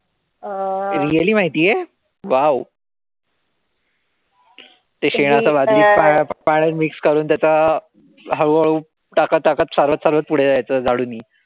really माहितीये? wow. ते शेणाची बादलीत पाण्यात mix करून त्याच हळूहळू टाकत-टाकत चालत-चालत पुढे जायचं झाडुनी.